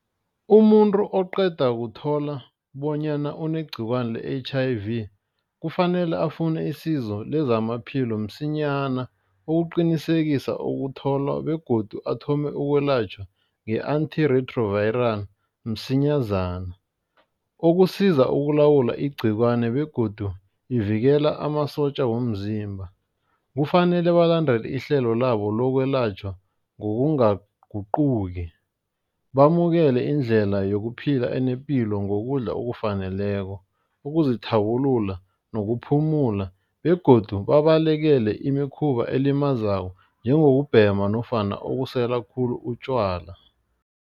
Umuntu oqeda kuthola bonyana unegciwani le-H_I_V kufanele afune isizo lezamaphilo msinyana. Ukuqinisekisa ukutholwa begodu athome ukwelatjhwa nge-antirewtroviral msinyazana. Ukusiza ukulawula igciwani begodu ivikela amasotja womzimba. Kufanele balandele ihlelo labo lokwelatjhwa ngokungaguquki bamukele indlela yokuphila enepilo ngokudla okufaneleko, ukuzithabulula nokuphumula begodu babalekele imikhuba elimazako njengokubhema nofana ukusela khulu utjwala.